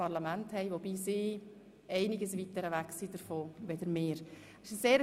Allerdings sind sie um einiges weiter entfernt von diesem Ideal als wir.